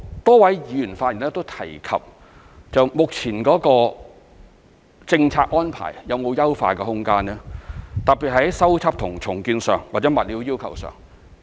多位議員發言時都問及目前的政策安排有否優化的空間，特別是在修葺和重建上或在物料要求上。